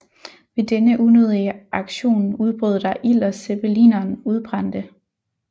Ved denne unødige aktion udbrød der ild og zeppelineren udbrændte